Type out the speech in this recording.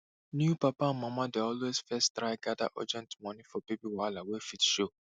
new papa and mama dey always first try gather urgent moni for baby wahala wey fit show